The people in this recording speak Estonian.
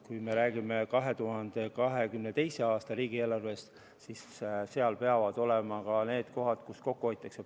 Kui me räägime 2022. aasta riigieelarvest, siis seal peavad olema ka need kohad, kust kokku hoitakse.